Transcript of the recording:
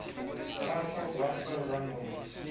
title buffer rumbles